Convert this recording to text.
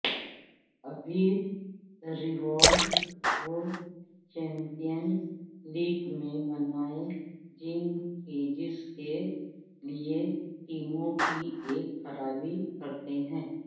ابھی Rivaldo champions league میں بنائے جس کے لئے ٹیموں کی ایک خرابی کرتے ہیں